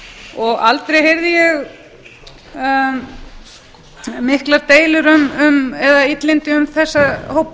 og aldrei heyrði ég miklar deilur eða illindi um þessa hópa